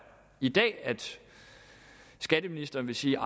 i dag at skatteministeren vil sige